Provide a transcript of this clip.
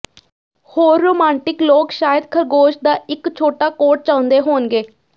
ਹੋਰ ਰੋਮਾਂਟਿਕ ਲੋਕ ਸ਼ਾਇਦ ਖਰਗੋਸ਼ ਦਾ ਇੱਕ ਛੋਟਾ ਕੋਟ ਚਾਹੁੰਦੇ ਹੋਣਗੇ